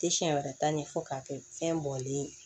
Tɛ siɲɛ wɛrɛ ta ɲɛ fo k'a kɛ fɛn bɔlen ye